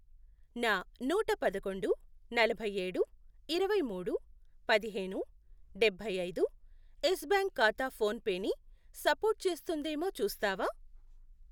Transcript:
నా నూట పదకొండు, నలభై ఏడు, ఇరవై మూడు, పదిహేను, డబ్బై ఐదు, యెస్ బ్యాంక్ ఖాతా ఫోన్ పే ని సపోర్టు చేస్తుందేమో చూస్తావా?